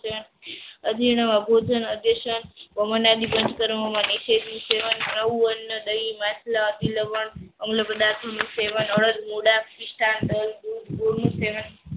અઢી ન અબોધન અટસેન પાવન આદિ પાંચ કર્મો માં નિસેની સેવન કરવું. અન્ન દઈ માછલાં અભિલવાન અમ્લ પદાર્થ નું સેવન અડદ મુડા પિસ્તા, દય, દૂધ, ગૂડ નું સેવન